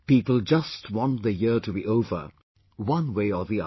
People just want the year to be over, one way or the other